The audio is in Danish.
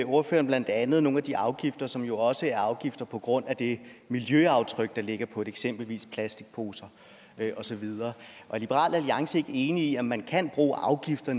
ordføreren blandt andet nogle af de afgifter som jo også er afgifter på grund af det miljøaftryk der ligger eksempelvis på plastikposer og så videre er liberal alliance ikke enig i at man kan bruge afgifter